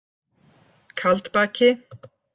Kaldbaki